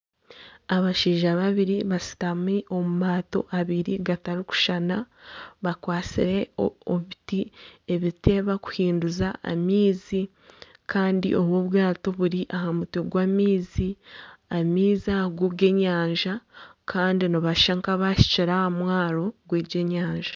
Abashaija babiri bashutami omu maato abiri gatarikushushana bakwatsire ebiti ebibakuhinduza amaizi kandi obu bwaato buri aha mutwe gw'amaizi, amaizi ago g'enyanja kandi nibashusha nka abahikire aha mwaaro gw'egi enyanja.